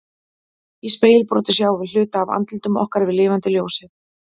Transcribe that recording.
Í spegilbroti sjáum við hluta af andlitum okkar við lifandi ljósið.